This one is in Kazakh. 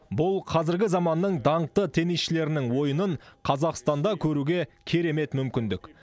бұл қазіргі заманның даңқты теннисшілерінің ойынын қазақстанда көруге керемет мүмкіндік